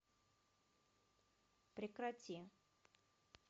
прекрати